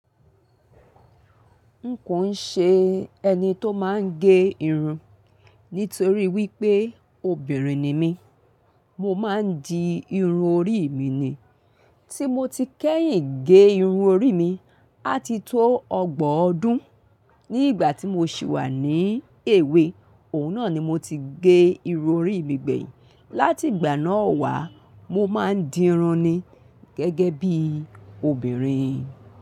N kò ń ṣe ẹni tó máa ń gẹ irun, nítorí wípé obìnrin ni mí, mo máa ń di irun orí mi ni. Tí mo ti kẹ́yìn gẹ irun orí mi, á ti tó ọgbọ̀n ọdún. Ní ìgbà tí mo sì wà ní èwe, òun náà ni mo ti gẹ irun orí mi gbẹ̀yìn. Láti ìgbà náà wá, mo máa ń dirun ni gẹ́gẹ́ bí obìnrin.